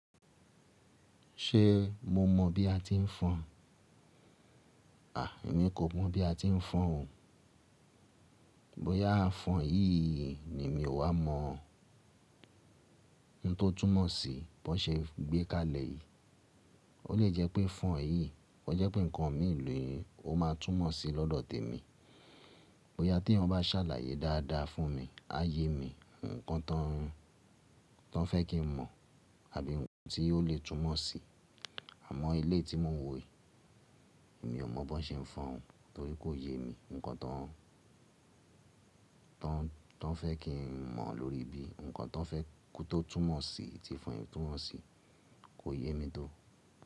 Ṣé mo mọ̀ bí a ti ń fọn? À, èmi kò mọ̀ bí a ti ń fọn o. Bóyá fọn yìí ni emi ò wá mọ̀. Ń tó túnmọ̀ sí bó n ṣe gbé kalẹ̀ yìí. O lè jẹ́ pé fọn yìí, ko jẹ́ pé nǹkan mi ni o ma túnmọ̀ sí lọ́dọ̀ tèmi. Bóyá tí eeyan bá sàlàyé dáadáa fún mi, á yé mi ǹnkan tán tan fẹ́ kí n mọ̀ àbí ohun tí ó lè túnmọ̀ sí. Àmọ́ eleyi tí mò ń wò yí, èmi ò mọ̀ bó n ṣe ń fọn o torí kò yé mi ǹnkan tán tọ́ n fẹ́ kí n mọ̀ lórí ibí. Nǹkan tọ́ n fẹ́ kó tó túnmọ̀ sí tí fọn yi túnmọ̀ sí kò yé mi tó.